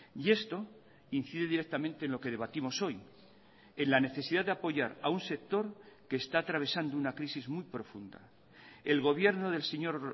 y esto incide directamente en lo que debatimos hoy en la necesidad de apoyar a un sector que está atravesando una crisis muy profunda el gobierno del señor